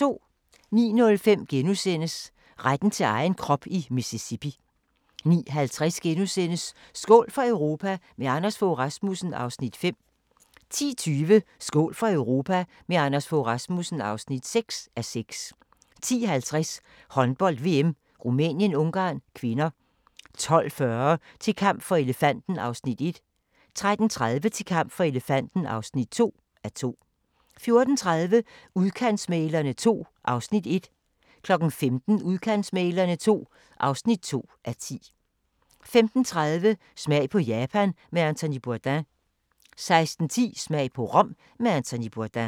09:05: Retten til egen krop i Mississippi * 09:50: Skål for Europa – med Anders Fogh Rasmussen (5:6)* 10:20: Skål for Europa – med Anders Fogh Rasmussen (6:6) 10:50: Håndbold: VM - Rumænien-Ungarn (k) 12:40: Til kamp for elefanten (1:2) 13:30: Til kamp for elefanten (2:2) 14:30: Udkantsmæglerne II (1:10) 15:00: Udkantsmæglerne II (2:10) 15:30: Smag på Japan med Anthony Bourdain 16:10: Smag på Rom med Anthony Bourdain